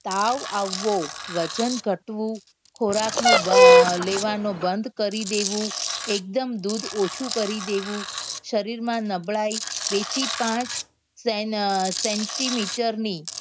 તાવ આવવો વજન ઘટવું ખોરાક માં દ લેવા નું બંદ કરી દેવું એકદમ દૂધ ઓછું કરી દેવું શરીર માં નબળાઈ બે થી પાંચ સેન centimeter ની